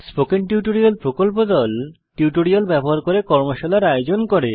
spoken tutorial প্রকল্প দল tutorial ব্যবহার করে কর্মশালার আয়োজন করে